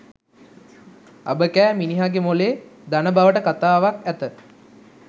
අබ කෑ මිනිහාගේ මොළේ දන බවට කතාවක් ඇත!